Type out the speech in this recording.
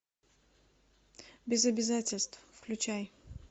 без обязательств включай